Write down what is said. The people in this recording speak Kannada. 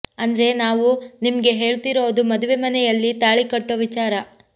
ಅಂದ್ರೆ ನಾವು ನಿಮ್ಗೆ ಹೇಳ್ತಿರೋದು ಮದುವೆ ಮನೆಯಲ್ಲಿ ತಾಳಿ ಕಟ್ಟೊ ವಿಚಾರ